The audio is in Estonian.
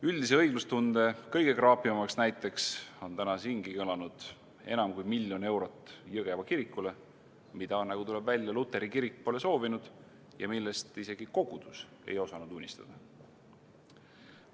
Üldise õiglustunde kõige kraapivamaks näiteks on täna siingi kõlanud enam kui miljon eurot Jõgeva kirikule, mida, nagu tuleb välja, luteri kirik pole soovinud ja millest isegi kogudus ei osanud unistada.